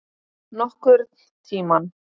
Nokkurn tímann.